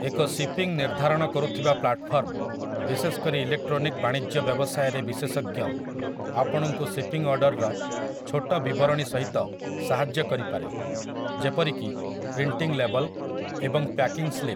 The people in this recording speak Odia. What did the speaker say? ଏକ ସିପିଂ ନିର୍ଧାରଣ କରୁଥିବା ପ୍ଲାଟଫର୍ମ, ବିଶେଷକରି ଇଲେକଟ୍ରୋନିକ ବାଣିଜ୍ୟ ବ୍ୟବସାୟରେ ବିଶେଷଜ୍ଞ, ଆପଣଙ୍କୁ ଶିପିଂ ଅର୍ଡ଼ରର ଛୋଟ ବିବରଣୀସହିତ ସାହାଯ୍ୟ କରିପାରେ, ଯେପରିକି ପ୍ରିଣ୍ଟିଂ ଲେବଲ୍ ଏବଂ ପ୍ୟାକିଂ ସ୍ଲିପ୍ ।